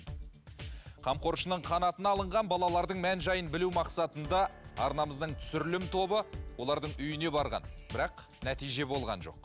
қамқоршының қанатына алынған балалардың мән жайын білу мақсатында арнамыздың түсірілім тобы олардың үйіне барған бірақ нәтиже болған жоқ